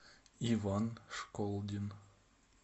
иван школдин